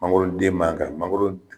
Mangoro den man ka mangoro